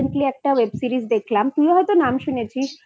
Web series দেখলাম তুইও হয়তো নাম শুনেছিস